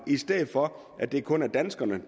i stedet for at det kun er danskerne